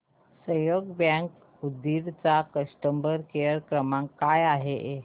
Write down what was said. सहयोग बँक उदगीर चा customer care क्रमांक काय आहे